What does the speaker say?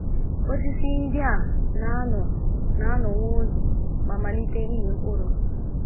Osisi ndị a na - anọ na - anọ nwa oge ma malite ịmị mkpụrụ.